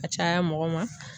Ka caya mɔgɔ ma